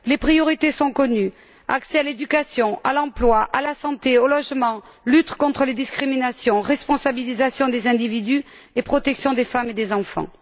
Les priorités sont connues accès à l'éducation, à l'emploi, à la santé et au logement, lutte contre les discriminations, responsabilisation des individus, ainsi que protection des femmes et des enfants.